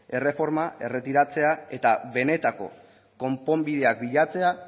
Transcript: erreforma erretiratzea eta benetako konponbideak bilatzea